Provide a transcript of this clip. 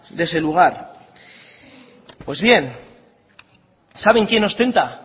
de ese lugar pues bien saben quién ostenta